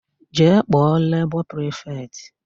Jee kpọọ lebọ prifetị!